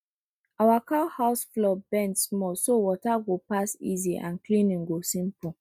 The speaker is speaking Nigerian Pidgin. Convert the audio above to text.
our cow house floor bend small so water go pass easy and cleaning go simple